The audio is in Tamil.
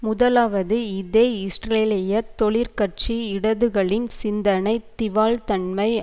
முதலாவது இதே இஸ்ரேலிய தொழிற்கட்சி இடதுகளின் சிந்தனைத் திவால்தன்மை